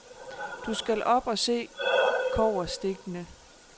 Du skal op og se kobberstikkene.